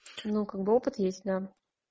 ну какбы опыт есть да